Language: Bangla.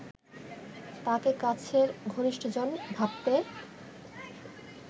তাঁকে কাছের ঘনিষ্ঠজন ভাবতে